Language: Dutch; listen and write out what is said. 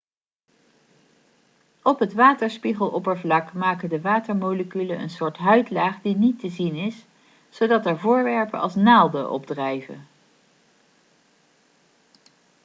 op het waterspiegeloppervlak maken de watermoleculen een soort huidlaag die niet te zien is zodat er voorwerpen als naalden op drijven